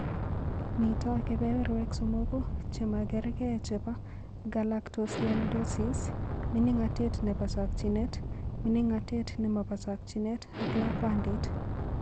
Mito kebeberwek somoku che magergee chebo galactosialidosis: mining'natet nebo chokchinet, mining'natet ne mo bo chokchinet ak lakwandit.